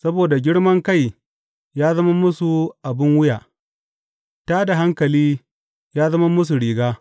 Saboda girman kai ya zama musu abin wuya; tā da hankali ya zama musu riga.